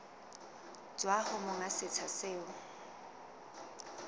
tswa ho monga setsha seo